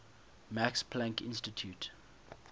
max planck institute